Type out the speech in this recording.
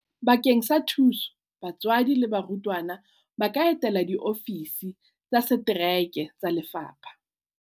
Bakeng sa thuso batswadi le barutwana ba ka etela diofisi tsa setereke tsa lefapha.